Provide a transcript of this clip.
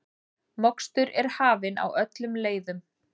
Mokstur er hafin á öllum leiðum